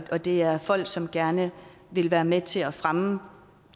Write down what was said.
og det er folk som gerne vil være med til at fremme